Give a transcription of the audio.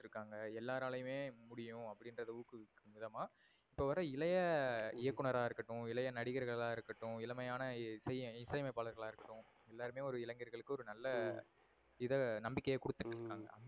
இருக்காங்க. எல்லாரலையுமே முடியும் அப்டினுரத ஊக்கவிக்கும் விதமா, இப்ப வர இளைய ஹம் இயக்குனரா இருக்கட்டும், இளைய நடிகர்களா இருக்கட்டும், இளமையான இசை அமைப்பாளர்களா இருக்கட்டும் எல்லாருமே இளைங்கர்களுக்கு ஒரு நல ஹம் இத நம்பிக்கைய கொடுத்துட்டு இருக்காங்க. ஹம்